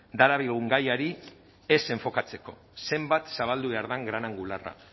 darabilgun gaiari ez enfokatzeko zenbat zabaldu behar den gran angularra